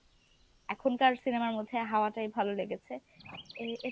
এখনকার cinema র মধ্যে হাওয়াটাই ভালো লেগেছে। এ এ